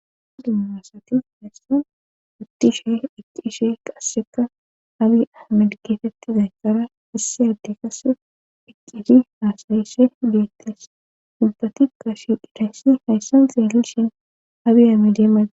dummasati heyssan utti she icciishe qasseka abi madgifettiday kara isse adde kase icishi haasayysse beettes ubbatika shi dhitayssi hayssan xeelli shin abiyame deemadda